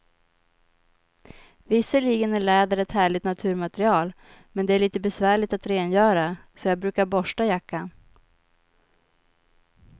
Visserligen är läder ett härligt naturmaterial, men det är lite besvärligt att rengöra, så jag brukar borsta jackan.